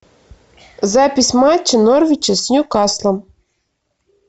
запись матча норвича с ньюкаслом